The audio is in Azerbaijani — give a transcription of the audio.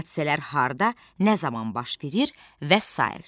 Hadisələr harda, nə zaman baş verir və sair.